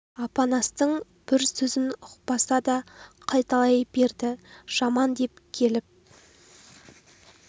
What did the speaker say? апанастың бір сөзін ұқпаса да қайталай берді жаман деп келіп